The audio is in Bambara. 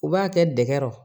U b'a kɛ dɛgɛ